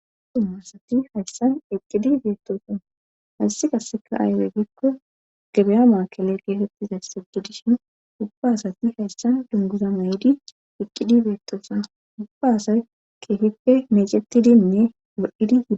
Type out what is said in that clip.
Tummasati hayssan iqqidi beettoosan hayssi qasseka aywe gikko gebeya maakele geefettizayssegidishin gubba asati hayssan dunguza may7di eqqidi beettoosan gubba asay keefippe meecettidinne ged7idi.